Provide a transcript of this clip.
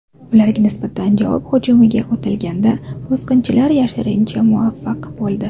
Ularga nisbatan javob hujumiga o‘tilganda, bosqinchilar yashirinishga muvaffaq bo‘ldi.